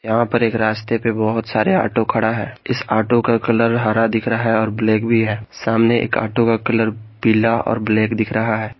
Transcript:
यहां पर एक रास्ते पे बहुत सारे ऑटो खड़ा है इस ऑटो का कलर हरा दिख रहा है और ब्लैक भी है सामने एक ऑटो का कलर पीला और ब्लैक दिख रहा है।